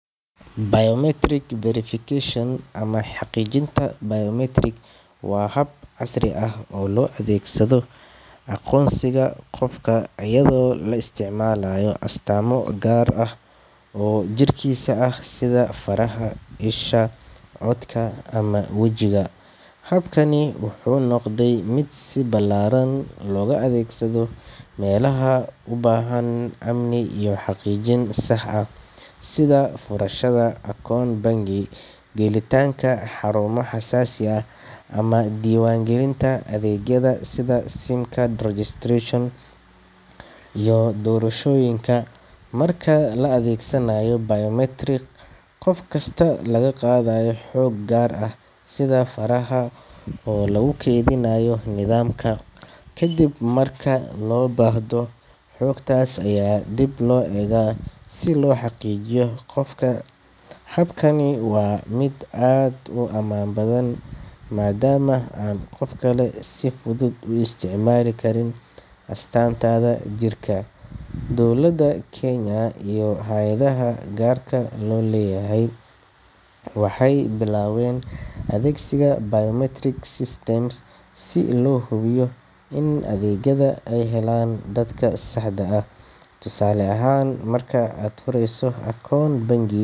Biometric verification ama xaqiijinta biometric waa hab casri ah oo loo adeegsado aqoonsiga qofka iyadoo la isticmaalayo astaamo gaar ah oo jirkiisa ah sida faraha, isha, codka ama wajiga. Habkani wuxuu noqday mid si ballaaran looga adeegsado meelaha u baahan amni iyo xaqiijin sax ah sida furashada akoon bangi, gelitaanka xarumo xasaasi ah, ama diiwaangelinta adeegyada sida SIM card registration iyo doorashooyinka. Marka la adeegsanayo biometric, qof kasta waxaa laga qaadayaa xog gaar ah sida faraha oo lagu kaydinayo nidaamka, kadibna marka loo baahdo, xogtaas ayaa dib loo eegaa si loo xaqiijiyo qofka. Habkani waa mid aad u ammaan badan maadaama aan qof kale si fudud u isticmaali karin astaantaada jirka. Dowladda Kenya iyo hay’adaha gaarka loo leeyahay waxay bilaabeen adeegsiga biometric systems si loo hubiyo in adeegyada ay helaan dadka saxda ah. Tusaale ahaan, marka aad furayso akoon bangi.